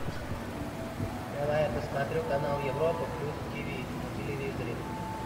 давай я посмотрю канал европа плюс тв на телевизоре